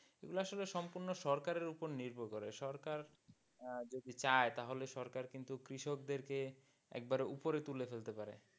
এগুলা আসলে সম্পূর্ণ সরকারের ওপরে নির্ভর করে সরকার আহ যদি চায় সরকার কিন্তু কৃষক দের কে একবারে উপরে তুলে ফেলতে পারে।